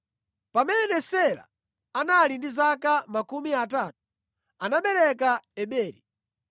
Pamene Sela anali ndi zaka makumi atatu, anabereka Eberi.